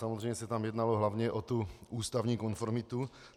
Samozřejmě se tam jednalo hlavně o tu ústavní konformitu.